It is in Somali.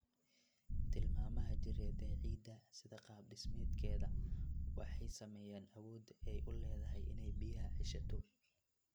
Tilmaamaha jireed ee ciidda, sida qaab-dhismeedka iyo qaab-dhismeedka, waxay saameeyaan awoodda ay u leedahay inay biyaha ceshato.